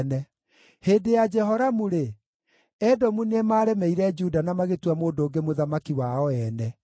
Hĩndĩ ya Jehoramu-rĩ, Edomu nĩmaremeire Juda na magĩtua mũndũ ũngĩ mũthamaki wao ene.